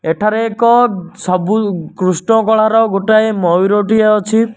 ଏଠାରେ ଏକ ସବୁ କ୍ରୁଷ୍ଣ କଳା ର ଗୋଟିଏ ମୟୁରଟିଏ ଅଛି।